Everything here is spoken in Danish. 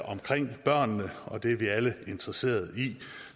omkring børnene og det er vi alle interesserede i